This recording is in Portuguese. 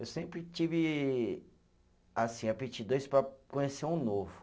Eu sempre tive, assim, aptidões para conhecer um novo.